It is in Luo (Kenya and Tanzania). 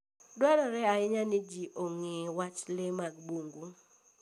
Dwarore ahinya ni ji ong'e wach le mag bungu.